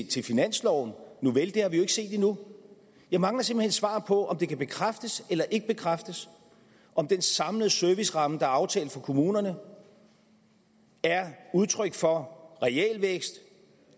til finansloven nuvel det har vi jo ikke set endnu jeg mangler simpelt hen et svar på om det kan bekræftes eller ikke bekræftes at den samlede serviceramme der er aftalt for kommunerne er udtryk for realvækst